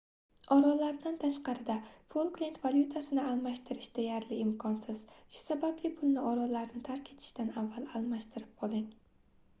orollardan tashqarida folklend valyutasini almashtirish deyarli imkonsiz shu sababli pulni orollarni tark etishdan avval almashtirib oling